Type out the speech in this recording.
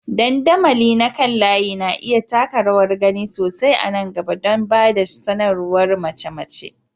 Dandamali na kan layi na iya taka rawar gani sosai a nan gaba don ba da sanarwar mace-mace.